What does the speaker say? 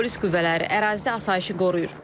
Polis qüvvələri ərazidə asayışı qoruyur.